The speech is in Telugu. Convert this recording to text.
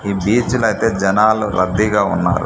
ఈ బీచ్ లో అయితే జనాలు రద్దీగా ఉన్నారు.